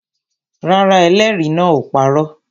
Rárá, ẹlẹ́rìí náà ò parọ́